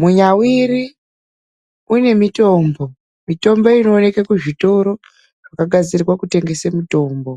Munyawiri une mitombo, mitombo inooneka kuzvitoro zvakagadzirwa kutengesa mitombo.